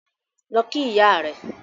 Lọ kí ìyá rẹ!